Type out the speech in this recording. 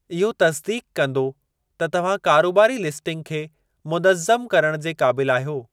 इहो तसिदीक़ कंदो त तव्हां कारोबारी लिस्टिंग खे मुनज़्ज़म करणु जे क़ाबिल आहियो।